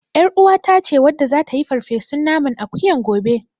YarUwata ce wadda zata yi farfesun naman akuyan gobe.